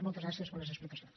moltes gràcies per les explicacions